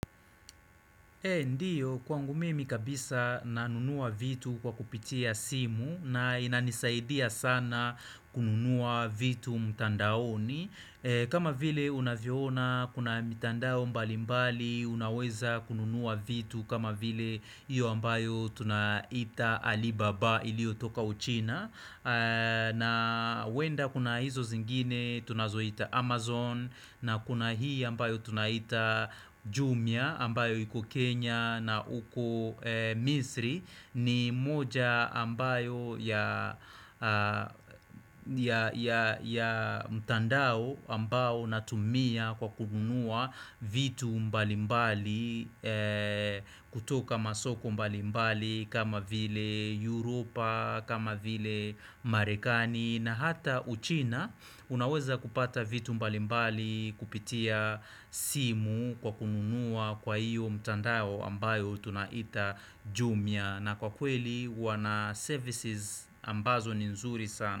Ndio kwangu mimi kabisa nanunua vitu kwa kupitia simu na inanisaidia sana kununua vitu mtandaoni kama vile unavyoona kuna mtandao mbali mbali unaweza kununua vitu kama vile iyo ambayo tunaita Alibaba ilio toka uchina na huenda kuna hizo zingine tunazohita Amazon na kuna hii ambayo tunaita Jumia ambayo iko Kenya na huku Misri ni moja ambayo ya mtandao ambao natumia kwa kununua vitu mbalimbali kutoka masoko mbalimbali kama vile Europa, kama vile Marekani na hata uchina unaweza kupata vitu mbalimbali kupitia simu kwa kununua kwa iyo mtandao ambayo tunaita jumia. Na kwa kweli wana services ambazo ni nzuri sana.